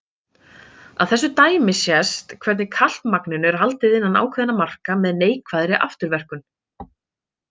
Af þessu dæmi sést hvernig kalkmagninu er haldið innan ákveðinna marka með neikvæðri afturverkun.